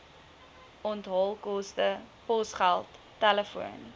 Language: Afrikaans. onthaalkoste posgeld telefoon